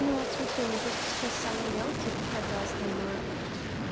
ну вот смотри у меня просто сейчас самый мелкий это основное